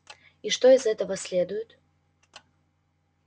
и что из этого следует